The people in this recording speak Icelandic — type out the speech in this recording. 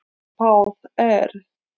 Spáð er